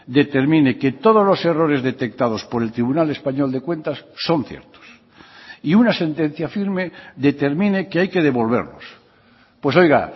determine que todos los errores detectados por el tribunal español de cuentas son ciertos y una sentencia firme determine que hay que devolverlos pues oiga